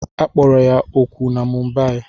A kpọrọ ya okwu na Mumbai